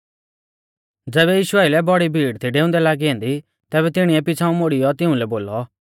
ज़ैबै यीशु आइलै बौड़ी भीड़ थी डेऊंदै लागी ऐन्दी तैबै तिणीऐ पिछ़ांऊ मुड़ीयौ तिउंलै बोलौ